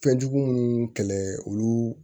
Fɛnjugu minnu kɛlɛ olu